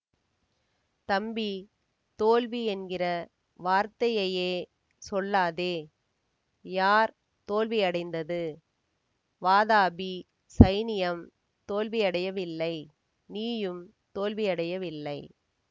தம்பி தோல்வி என்கிற வார்த்தையையே சொல்லாதே யார் தோல்வியடைந்தது வாதாபி சைனியம் தோல்வியடையவில்லை நீயும் தோல்வியடையவில்லை